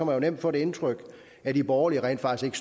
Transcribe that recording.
man nemt få det indtryk at de borgerlige rent faktisk